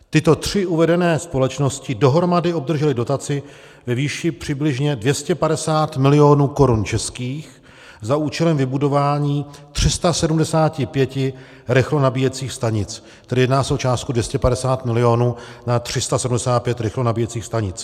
Tyto tři uvedené společnosti dohromady obdržely dotaci ve výši přibližně 250 milionů korun českých za účelem vybudování 375 rychlonabíjecích stanic, tedy jedná se o částku 250 milionů na 375 rychlonabíjecích stanic.